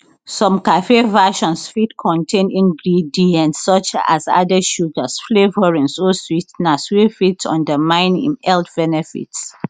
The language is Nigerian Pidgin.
some cafe versions fit contain ingredients such as added sugars flavourings or swee ten ers wey fit undermine im health benefits